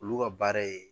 Olu ka baara ye